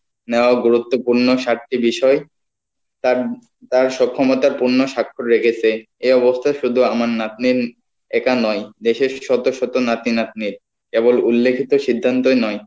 নেওয়া গুরুত্বপূর্ণ চারটি বিষয় তার তার এ অবস্থায় শুধু আমার নাতনি একা নয় দেশের শত শত নাতি নাতনি কেবল উল্লেখিত সিদ্ধান্তয় নয়